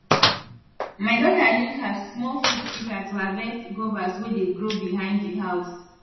my daughter use her small fruit pika to harvest guavas wey dey grow behind di house